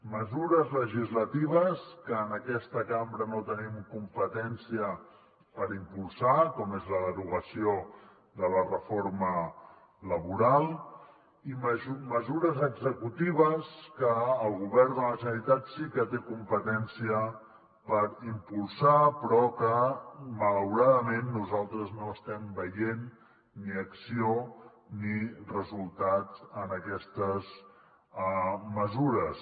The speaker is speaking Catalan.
mesures legislatives que en aquesta cambra no tenim competència per impulsar com és la derogació de la reforma laboral i mesures executives que el govern de la generalitat sí que té competència per impulsar però que malauradament nosaltres no estem veient ni acció ni resultats en aquestes mesures